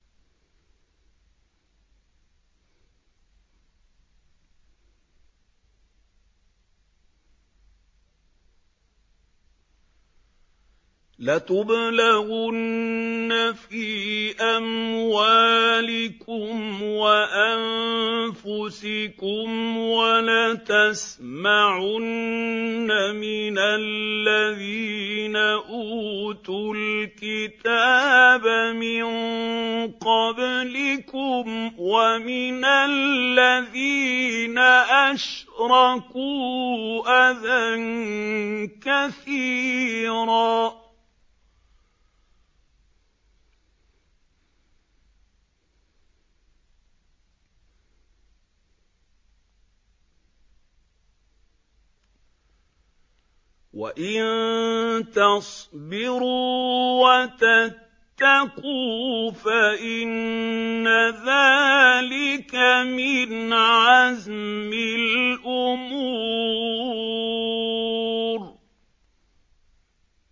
۞ لَتُبْلَوُنَّ فِي أَمْوَالِكُمْ وَأَنفُسِكُمْ وَلَتَسْمَعُنَّ مِنَ الَّذِينَ أُوتُوا الْكِتَابَ مِن قَبْلِكُمْ وَمِنَ الَّذِينَ أَشْرَكُوا أَذًى كَثِيرًا ۚ وَإِن تَصْبِرُوا وَتَتَّقُوا فَإِنَّ ذَٰلِكَ مِنْ عَزْمِ الْأُمُورِ